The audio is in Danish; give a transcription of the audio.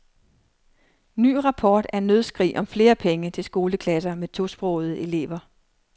Ny rapport er nødskrig om flere penge til skoleklasser med tosprogede elever.